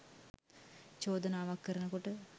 චෝදනාවක් කරන කොට